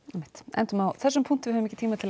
endum á þessum punkti við höfum ekki tíma til